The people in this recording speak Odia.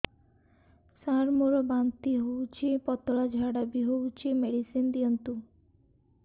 ସାର ମୋର ବାନ୍ତି ହଉଚି ପତଲା ଝାଡା ବି ହଉଚି ମେଡିସିନ ଦିଅନ୍ତୁ